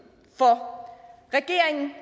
for regeringen